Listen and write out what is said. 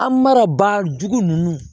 An mana ba jugu ninnu